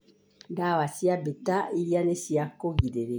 ndawa cia beta iria nĩ cia kũrigĩrĩria